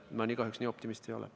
Ma nii optimistlik kahjuks ei ole.